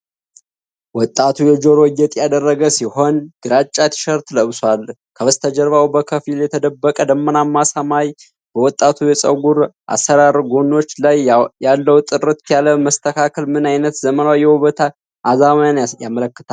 ወጣቱ የጆሮ ጌጥ ያደረገ ሲሆን፣ ግራጫ ቲሸርት ለብሷል፤ ከበስተጀርባ በከፊል የተደበቀ ደመናማ ሰማይበወጣቱ የፀጉር አሠራር ጎኖች ላይ ያለው ጥርት ያለ መስተካከል ምን ዓይነት ዘመናዊ የውበት አዝማሚያን ያመለክታል? ።